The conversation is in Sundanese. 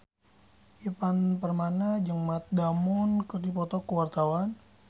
Ivan Permana jeung Matt Damon keur dipoto ku wartawan